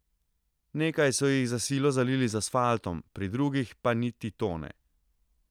Nekaj so jih za silo zalili z asfaltom, pri drugih pa niti to ne.